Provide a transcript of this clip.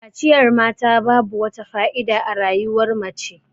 Kaciyar mata babu wata fa'ida a rayuwar nace.